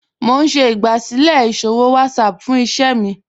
Mo n ṣẹ̀ igbásílẹ̀ iṣòwò WhatsApp fún ìṣẹ̀ mi